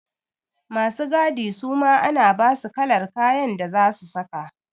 Masu gadi suma ana basu kalar kayan da zasu saka.